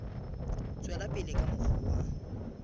tswela pele ka mokgwa wa